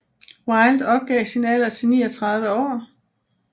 Wilde opgav sin alder til 39 år